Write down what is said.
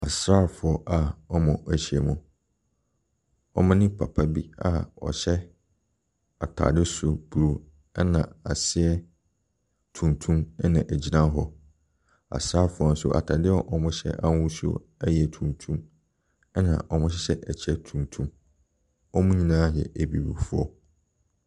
Asrafoɔ a wɔahyia mu. Wɔne papa bi a ɔhyɛ ataade soro bruu ɛne aseɛ tuntum ɛna ɛgyina hɔ. Asrafoɔ nso ataadeɛ a wɔhyɛ ɛyɛ tuntum, ɛna wɔhyɛ ɛkyɛ tuntum. Wɔn nyinaa ɛɛɛ abibifoɔ.